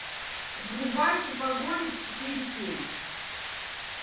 врубай шопоголик четыре кей